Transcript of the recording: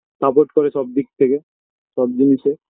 support করে সবদিক থেকে সব জিনিসে